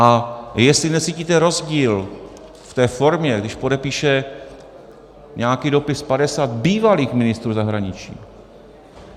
A jestli necítíte rozdíl v té formě, když podepíše nějaký dopis 50 bývalých ministrů zahraničí...